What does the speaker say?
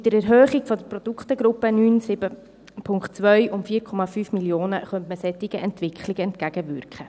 Mit der Erhöhung der Produktegruppe 9.7.2 um 4,5 Mio. Franken könnte man solchen Entwicklungen entgegenwirken.